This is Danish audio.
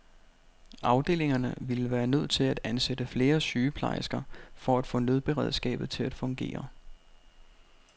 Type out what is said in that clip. Afdelingerne ville være nødt til at ansætte flere sygeplejersker for at få nødberedskabet til at fungere.